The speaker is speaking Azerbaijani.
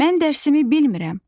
Mən dərsimi bilmirəm.